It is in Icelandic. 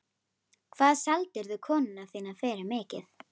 Hvað seldirðu konuna þína fyrir mikið?